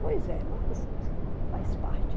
Pois é, mas faz parte.